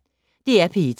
DR P1